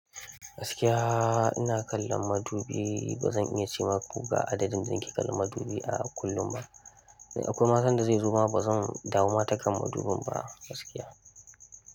Gaskiya ina kallon madubi, ba zan iya ce maku ga adadin da nake kallon madubi a kullum ba. Akwai ma sanda zai zoma ba zan damu ma takan madubin ba gaskiya.